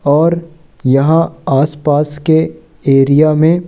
और यहां आस पास के एरिया में--